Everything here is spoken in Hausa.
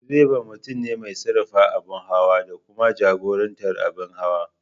Direba mutum ne mai sarrafa abin hawa da kuma jagorantar abin hawa.